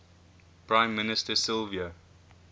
prime minister silvio